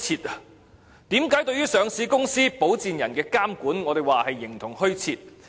為何說對於上市公司、保薦人的監管是形同虛設？